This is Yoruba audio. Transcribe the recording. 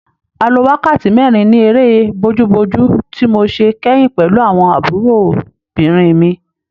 A lo wákàtí mẹ́rin ní eré bojúbojú tí mo ṣe kẹ́yìn pẹ̀lú àwọn àbúròbìnrin mi.